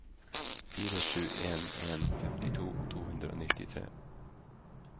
fire sju en en femtito to hundre og nittitre